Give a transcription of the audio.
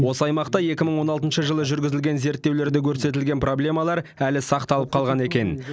осы аймақта екі мың он алтыншы жылы жүргізілген зерттеулерде көрсетілген проблемалар әлі сақталып қалған екен